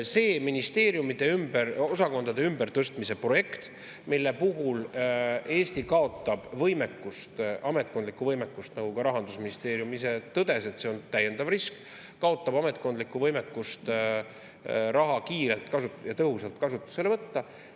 See ministeeriumide osakondade ümbertõstmise projekt, mille puhul Eesti kaotab ametkondlikku võimekust – nagu ka Rahandusministeerium ise tõdes, see on täiendav risk kaotada ametkondlikku võimekust raha kiirelt ja tõhusalt kasutusele võtta.